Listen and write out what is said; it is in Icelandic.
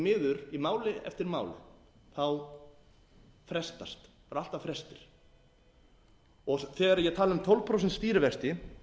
miður í máli eftir má frestast það eru alltaf frestir þegar ég tala um tólf prósent stýrivexti